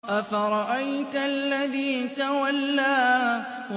أَفَرَأَيْتَ الَّذِي تَوَلَّىٰ